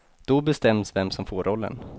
Då bestäms vem som får rollen.